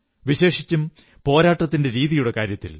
വിശേഷിച്ചും പോരാട്ടത്തിന്റെ രീതിയുടെ കാര്യത്തിൽ